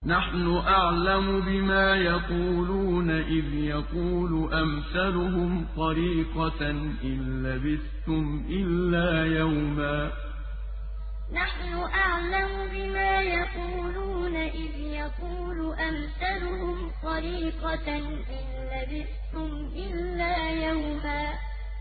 نَّحْنُ أَعْلَمُ بِمَا يَقُولُونَ إِذْ يَقُولُ أَمْثَلُهُمْ طَرِيقَةً إِن لَّبِثْتُمْ إِلَّا يَوْمًا نَّحْنُ أَعْلَمُ بِمَا يَقُولُونَ إِذْ يَقُولُ أَمْثَلُهُمْ طَرِيقَةً إِن لَّبِثْتُمْ إِلَّا يَوْمًا